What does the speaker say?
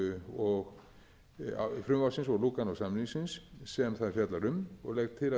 efnisákvæðum frumvarpsins og lúganósamningsins sem það fjallar um og legg til